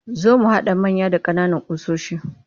Za mu haɗa manya da ƙananan ƙusoshi